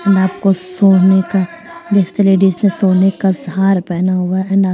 सोने का डिस लेडीज ने सोने का हार पेहना हुआ है --